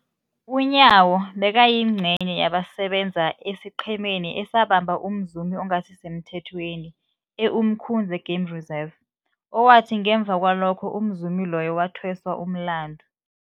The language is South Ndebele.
UNyawo bekayingcenye yabasebenza esiqhemeni esabamba umzumi ongasisemthethweni e-Umkhuze Game Reserve, owathi ngemva kwalokho umzumi loyo wathweswa umlandu.